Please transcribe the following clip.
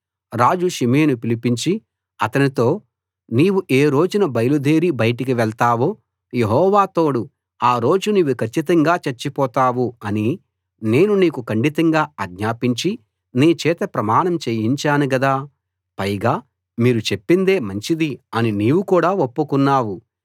రాజు షిమీని పిలిపించి అతనితో నీవు ఏ రోజున బయలుదేరి బయటికి వెళ్తావో యెహోవా తోడు ఆ రోజు నీవు కచ్చితంగా చచ్చిపోతావు అని నేను నీకు ఖండితంగా ఆజ్ఞాపించి నీచేత ప్రమాణం చేయించాను గదా పైగా మీరు చెప్పిందే మంచిది అని నీవు కూడా ఒప్పుకున్నావు